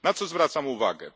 Na co zwracam uwagę?